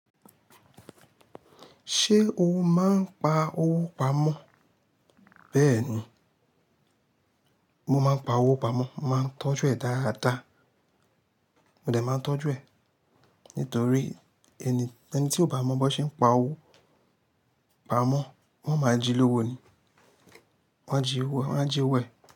Ṣé o máa ń pa owó pamọ́? Bẹ́ẹ̀ni, mo máa ń pa owó pamọ́, màá ń tọ́jú ẹ̀ dáadáa. Mo dẹ̀ máa ń tọ́jú ẹ̀ nítorí ẹni, ẹni tí ó bá mọ bí wọ́n ṣe ń pa owó pamọ́, wọ́n máa jí lówó ni. Wọ́n a jí owó, wọ́n a jí owó ẹ̀.